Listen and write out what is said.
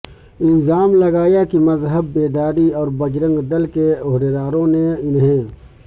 الزام لگایا کہ مذہب بیداری اور بجرنگ دل کے عہدیداروں نے انہی